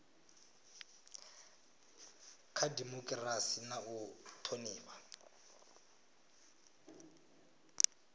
kha dimokirasi na u thonifha